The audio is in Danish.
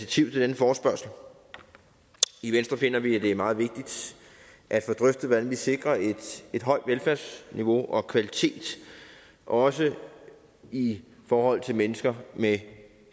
til denne forespørgsel i venstre finder vi at det er meget vigtigt at få drøftet hvordan vi sikrer et højt velfærdsniveau og kvalitet også i forhold til mennesker med